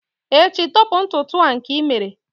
echi, tọpu ntutu a nke i mere!